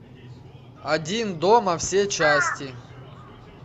один дома все части